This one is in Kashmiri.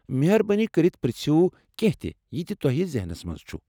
مہربٲنی کٔرتھ پرژھیو کینٛہہ تہِ یہِ تہِ تۄہہِ ذہنس مَنٛز چُھ۔